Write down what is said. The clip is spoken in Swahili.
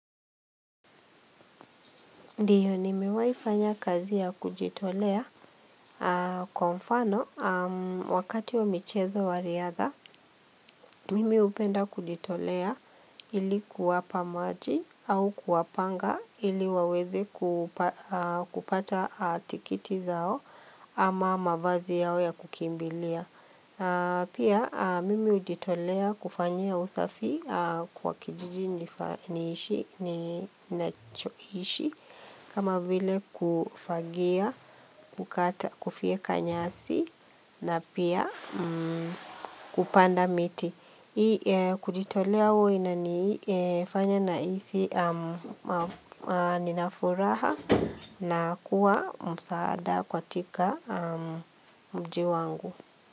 Ndio nimewaifanya kazi ya kujitolea kwa mfano wakati wa michezo wa riadha, mimi upenda kujitolea ilikuwa pamaji au kuwa panga ili waweze kuupa kupata tikiti zao ama mavazi yao ya kukimbilia. Pia mimi ujitolea kufanyia usafi kwa kijiji nifa niishi ninachoishi kama vile kufagia, kukata kufyeka nyasi na pia kupanda miti. Hii kujitolea hua inafanya na isi ninafuraha na kuwa msaada kwa tika mjiu wangu.